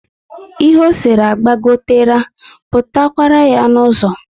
Ihe ọ sere agbagotera, pụta kwara yá n'uzo